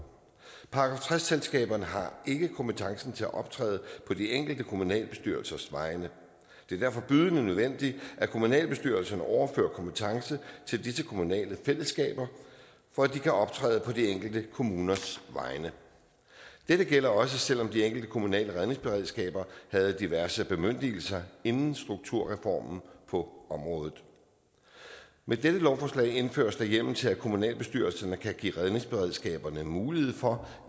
§ tres selskaberne har ikke kompetencen til at optræde på de enkelte kommunalbestyrelsers vegne det er derfor bydende nødvendigt at kommunalbestyrelserne overfører kompetence til disse kommunale fællesskaber for at de kan optræde på de enkelte kommuners vegne dette gælder også selv om de enkelte kommunale redningsberedskaber havde diverse bemyndigelser inden strukturreformen på området med dette lovforslag indføres der hjemmel til at kommunalbestyrelserne kan give redningsberedskaberne mulighed for